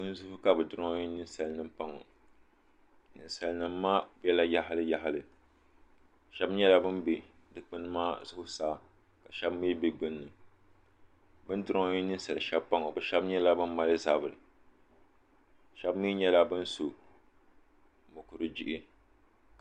Dukpuni zuɣu ka duronhi niŋsalinimpa ŋɔ ninsalnim maa bɛla yaɣili yaɣili shɛbi nyɛla ban dukpuni maa zuɣusaa ka shɛbi mi bɛ gbun ni bin duronyi niŋsal shɛbi paŋɔ bi shɛbi nyɛla ban mali zabiri shɛbi mi nyɛla ban so mukuru jihi